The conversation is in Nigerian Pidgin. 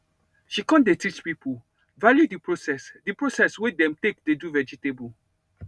she con dey teach people value the process the process wey dem take dey do vegetables